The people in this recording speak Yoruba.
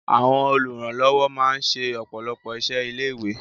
Àwọn olùrànlọ́wọ́ máa ń ṣe ọ̀pọ̀lọpọ̀ iṣẹ́ ilé-ìwé.